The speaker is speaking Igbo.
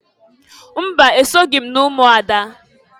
Mba! Esoghi m n'umuada.